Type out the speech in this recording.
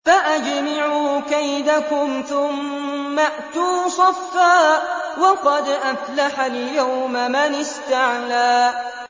فَأَجْمِعُوا كَيْدَكُمْ ثُمَّ ائْتُوا صَفًّا ۚ وَقَدْ أَفْلَحَ الْيَوْمَ مَنِ اسْتَعْلَىٰ